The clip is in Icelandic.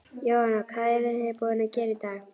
Jóhanna: Hvað eruð þið búin að gera í dag?